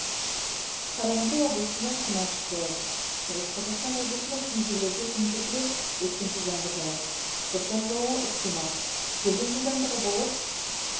қарағанды облысында күн ашық болады шығыс қазақстан облысында кей жерлерде күн күркіреп өткінші жаңбыр жауады бұршақ жаууы ықтимал желдің жылдамдығы болып